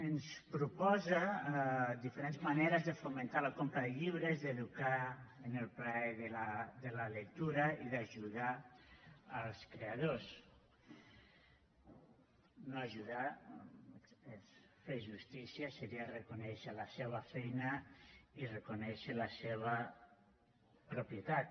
ens proposa diferents maneres de fomentar la compra de llibres d’educar en el plaer de la lectura i d’ajudar els creadors no ajudar és fer justícia seria reconèixer la seva feina i reconèixer la seva propietat